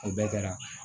O bɛɛ kɛra